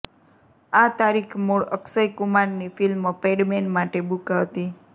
આ તારીખ મૂળ અક્ષયકુમારની ફિલ્મ પેડમેન માટે બૂક હતી